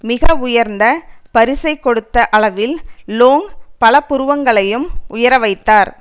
மிக உயர்ந்த பரிசை கொடுத்த அளவில் லோங் பல புருவங்களையும் உயர வைத்தார்